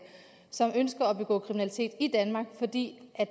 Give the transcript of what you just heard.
og ønsker at begå kriminalitet i danmark fordi